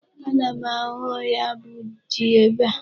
Ana m ahụ ya bụ ji ebe a.